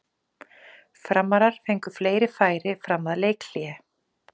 Framarar fengu fleiri færi fram að leikhléi.